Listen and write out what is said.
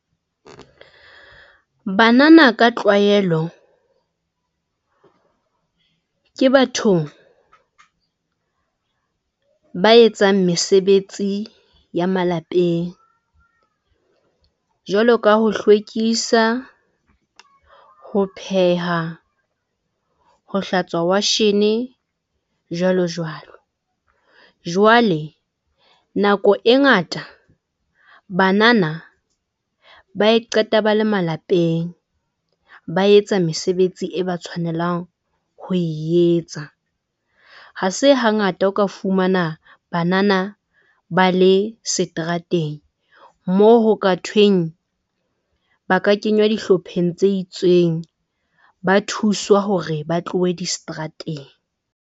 Banana ka tlwaelo ke bathong ba etsang mesebetsi ya malapeng jwalo ka ho hlwekisa, ho pheha, ho hlatswa washene, jwalo jwalo. Jwale nako e ngata banana ba e qeta ba le malapeng ba etsa mesebetsi e ba tshwanelang ho e etsa. Ha se hangata o ka fumana banana ba le seterateng, moo ho ka thweng ba ka kenywa dihlopheng tse itseng, ba thuswa hore ba tlohe diseterateng.